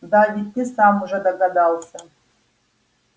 да ведь ты сам уже догадался